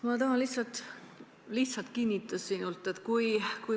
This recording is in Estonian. Ma tahan sinult lihtsalt kinnitust.